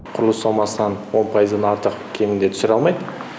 құрылыс сомасынан он пайыздан артық кемінде түсіре алмайды